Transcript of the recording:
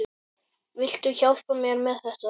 Viltu hjálpa mér með þetta?